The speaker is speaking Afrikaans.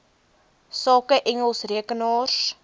sake engels rekenaars